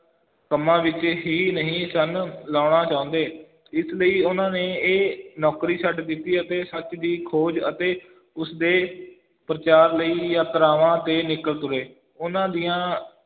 ਕੰਮਾਂ ਵਿੱਚ ਹੀ ਨਹੀਂ ਸਨ ਲਾਉਣਾ ਚਾਹੁੰਦੇ, ਇਸ ਲਈ ਉਹਨਾਂ ਨੇ ਇਹ ਨੌਕਰੀ ਛੱਡ ਦਿੱਤੀ ਅਤੇ ਸੱਚ ਦੀ ਖੋਜ ਅਤੇ ਉਸ ਦੇ ਪ੍ਰਚਾਰ ਲਈ ਯਾਤਰਾਵਾਂ 'ਤੇ ਨਿਕਲ ਤੁਰੇ, ਉਹਨਾਂ ਦੀਆਂ